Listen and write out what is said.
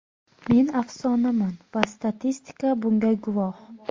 Men afsonaman va statistika bunga guvoh.